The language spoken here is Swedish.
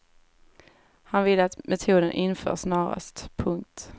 Han vill att metoden införs snarast. punkt